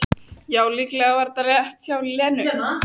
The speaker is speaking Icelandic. Já, líklega var það rétt hjá Lenu.